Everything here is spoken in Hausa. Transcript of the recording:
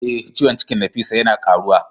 Eh, ciwon cikin Nafisat yana karuwa.